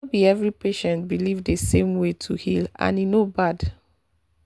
no be every patient believe the same way to heal and e no bad.